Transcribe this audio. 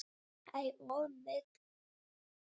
Ég á það.